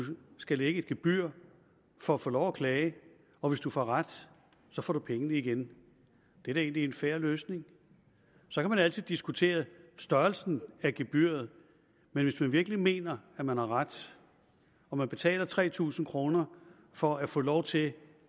skal lægge et gebyr for at få lov at klage og hvis du får ret får du pengene igen det er da egentlig en fair løsning så kan man altid diskutere størrelsen af gebyret men hvis man virkelig mener at man har ret og man betaler tre tusind kroner for at få lov til